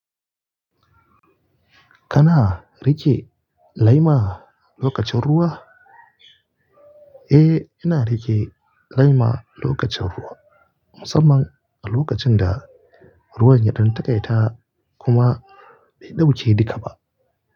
Kana riƙe laima lokacin ruwa? Eh, ina riƙe laima lokacin ruwa musamman a lokacin da ruwan yaɗin taƙaita kuma bai ɗauke dika ba.